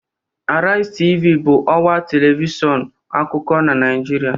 Arise Tv bụ ọwa telivishọn akụkọ na Naịjirịa